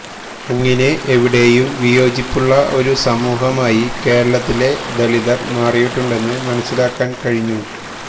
അങ്ങനെ എവിടെയും വിയോജിപ്പുള്ള ഒരു സമൂഹമായി കേരളത്തിലെ ദലിതര് മാറിയിട്ടുണ്ടെന്ന് മനസ്സിലാക്കാന് കഴിഞ്ഞു